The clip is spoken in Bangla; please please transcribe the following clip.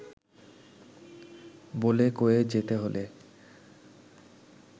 বলে-কয়ে যেতে হলে